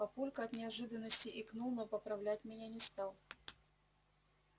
папулька от неожиданности икнул но поправлять меня не стал